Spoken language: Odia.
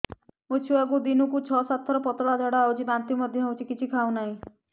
ମୋ ଛୁଆକୁ ଦିନକୁ ଛ ସାତ ଥର ପତଳା ଝାଡ଼ା ହେଉଛି ବାନ୍ତି ମଧ୍ୟ ହେଉଛି କିଛି ଖାଉ ନାହିଁ